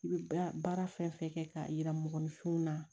I bɛ baara fɛn fɛn kɛ k'a yira mɔgɔninfinw na